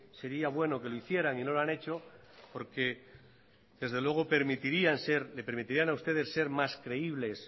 sería bueno que lo hicieran y no lo han hecho porque desde luego le permitirían a ustedes ser más creíbles